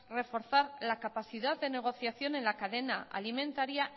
reforzar la capacidad de negociación en la cadena alimentaria